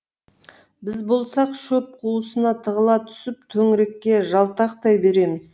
біз болсақ шөп қуысына тығыла түсіп төңірекке жалтақтай береміз